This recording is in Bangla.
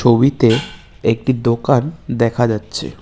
ছবিতে একটি দোকান দেখা যাচ্চে।